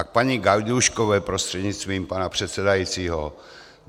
A k paní Gajdůškové prostřednictvím pana předsedajícího.